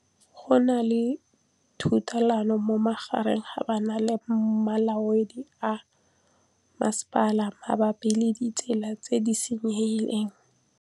Go na le thulanô magareng ga banna le molaodi wa masepala mabapi le ditsela tse di senyegileng.